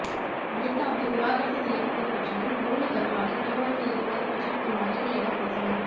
லலிதாவை விவாகரத்து செய்யப்போவது பற்றியும் போனி வர்மாவை திருமணம் செய்யப்போவதுபற்றியும் என் மகள்களிடம் பேசினேன்